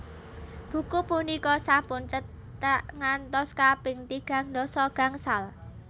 Buku punika sampun cetak ngantos kaping tigang dasa gangsal